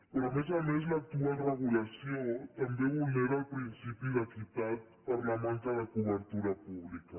però a més a més l’actual regulació també vulnera el principi d’equitat per la manca de cobertura pública